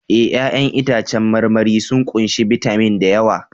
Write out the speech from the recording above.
Eh! 'Ya'yan itãcen marmari sun ƙunshi bitamin da yawa